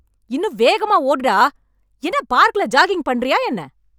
இன்னும் வேகமா ஓடு டா! என்ன பார்க்குல ஜாகிங்க் பண்ணுறியா என்ன?